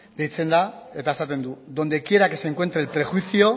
deitzen da eta esaten du donde quiera que se encuentre el prejuicio